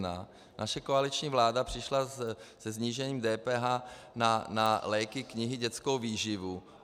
Naše koaliční vláda přišla se snížením DPH na léky, knihy, dětskou výživu.